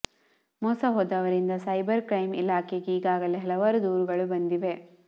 ಮೋಸ ಹೋದವರಿಂದ cyber crime ಇಲಾಖೆಗೆ ಈಗಾಗಲೆ ಹಲವಾರು ದೂರುಗಳು ಬಂದಿವೆ